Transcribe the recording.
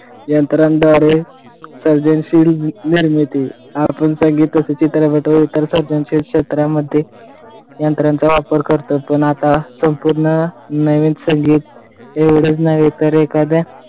यंत्राद्वारे सर्जनशील निर्मिती क्षेत्रामध्ये यंत्रांचा वापर करतो पण आता संपूर्ण नवीन एवढेच नव्हे, तर एखाद्या